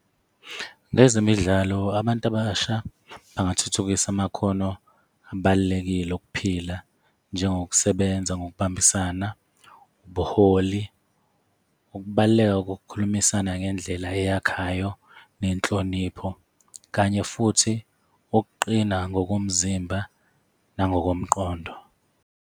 Ngezemidlalo, abantu abasha bangathuthukisa amakhono abalulekile okuphila njengokusebenza ngokubambisana, ubuholi, ukubaluleka kokukhulumisana ngendlela eyakhayo, nenhlonipho, kanye futhi, ukuqina ngokomzimba nangokomqondo.